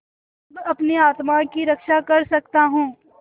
अब अपनी आत्मा की रक्षा कर सकता हूँ